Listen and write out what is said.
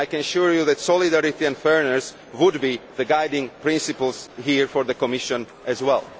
I can assure you that solidarity and fairness would be the guiding principles here for the Commission as